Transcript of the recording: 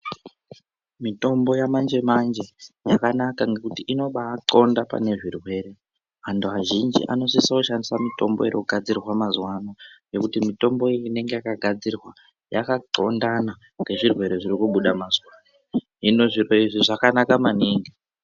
Mitombo yamanje manje yakanaka ngekuti inobathonda pane zvirwere. Antu azhinji anosisa kushandisa mitombo irikugadzirwa mazuwa ano ngekuti mitombo iyi inenge yakagadzirwa yakathondana ngezvirwere zvirikubuda mazuwa anaya. Hino zviro izvi zvakanaka maningi.